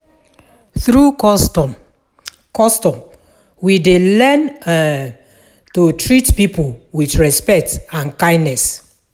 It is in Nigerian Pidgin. Through custom, custom, we dey learn um to treat people with respect and kindness.